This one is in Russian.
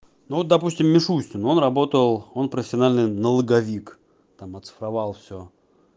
ну допустим мишустин он работал он профессиональный налоговик там оцифровал всё